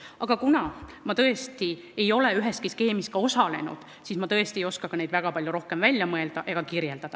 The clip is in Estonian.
Aga kuna ma tõesti ei ole üheski skeemis osalenud, siis ma ei oska neid väga palju rohkem välja mõelda ega kirjeldada.